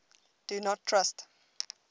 do not trust